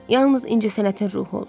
Yalnız incəsənətin ruhu olur.